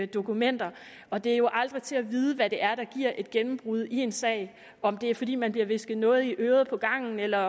dokumenter og det er jo aldrig til at vide hvad det er der giver et gennembrud i en sag om det er fordi man bliver hvisket noget i øret på gangen eller